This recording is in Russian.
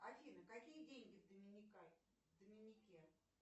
афина какие деньги в доминике